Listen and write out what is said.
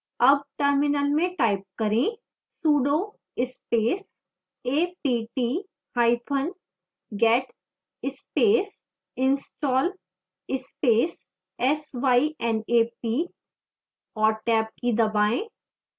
अब terminal में type करें sudo space a p t hyphen get space install space s y n a p और tab की दबाएं